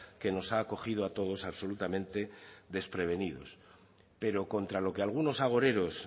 que nos ha cogido a todos absolutamente desprevenidos pero contra lo que algunos agoreros